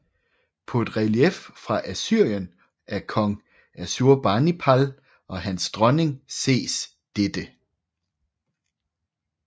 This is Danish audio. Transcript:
På et relief fra Assyrien af kong Assurbanipal og hans dronning ses dette